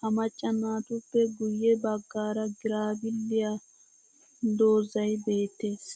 Ha macca naatuppe guye baggaara girabiliyaa dozay beettees.